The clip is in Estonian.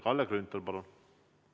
Kalle Grünthal, palun!